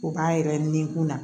O b'an yɛrɛ ni kun na